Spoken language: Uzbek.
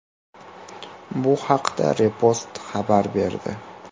Bu haqda Repost xabar berdi.